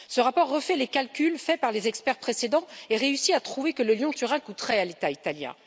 Ce rapport refait les calculs faits par les experts précédents et réussit à trouver que le Lyon Turin coûterait à l'État italien.